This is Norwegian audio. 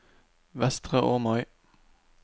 Vestre Åmøy